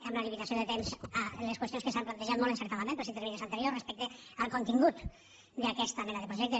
amb la limitació de temps a les qüestions que s’han plantejat molt encertadament pels intervinents anteriors respecte al contingut d’aquesta mena de projecte